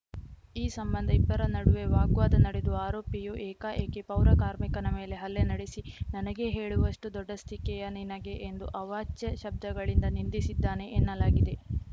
ಈ ಸಂಬಂಧ ಇಬ್ಬರ ನಡುವೆ ವಾಗ್ವಾದ ನಡೆದು ಆರೋಪಿಯು ಏಕಾಏಕಿ ಪೌರಕಾರ್ಮಿಕನ ಮೇಲೆ ಹಲ್ಲೆ ನಡೆಸಿ ನನಗೇ ಹೇಳುವಷ್ಟುದೊಡ್ಡಸ್ತಿಕೆಯ ನಿನಗೆ ಎಂದು ಅವಾಚ್ಯ ಶಬ್ದಗಳಿಂದ ನಿಂದಿಸಿದ್ದಾನೆ ಎನ್ನಲಾಗಿದೆ